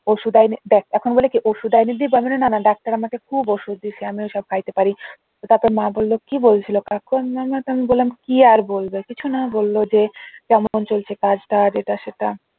ওষুধ আইনে দেখ এখন বলে কি ওষুধ আইনে দিবো আমি বললাম না না ডাক্তার আমাকে খুব ওষুধ দিছে আমি ওইসব খাইতে পারিনা তো তারপর মা বলল কি বলছিল কাকু আমি বললাম কি আর বলবে কিছু না বলল যে কেমন চলছে কাজ টাজ এটা সেটা